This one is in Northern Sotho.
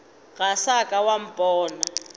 ga sa ka wa mpona